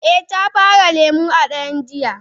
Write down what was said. Eh Ya bare lemu a daren jiya.